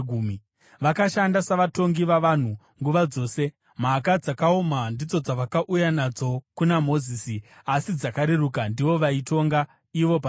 Vakashanda savatongi vavanhu nguva dzose. Mhaka dzakaoma ndidzo dzavakauya nadzo kuna Mozisi, asi dzakareruka ndivo vaitonga ivo pachavo.